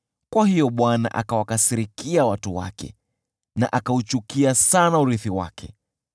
Kwa hiyo Bwana akawakasirikia watu wake na akauchukia sana urithi wake.